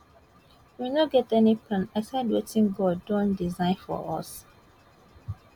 we no get any plan aside wetin god don design for us